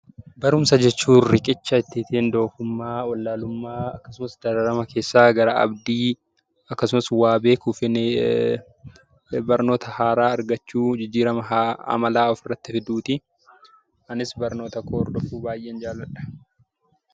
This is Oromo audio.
Barumsa jechuun riqicha ittiin doofumaa, wallaalummaa keessaa gara abdii akkasumas waa beekuuf jennee barnoota haaraa argachuuf jijjiirama amalaa ofirratti fiduudha. Anis barnoota koo hordofuu baay'een jaalladha.